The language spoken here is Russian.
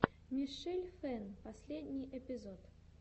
мишель фэн последний эпизод